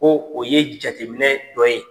Ko o ye jateminɛ dɔ ye.